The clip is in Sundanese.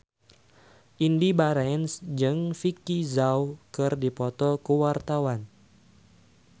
Indy Barens jeung Vicki Zao keur dipoto ku wartawan